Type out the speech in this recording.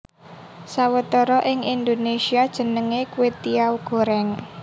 Sawetara ing Indonesia jenenge kwetiau goreng